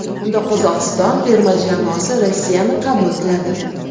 Unda Qozog‘iston terma jamoasi Rossiyani qabul qiladi.